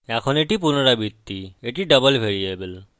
এখন এটি পুনরাবৃত্তি এটি ডবল ভ্যারিয়েবল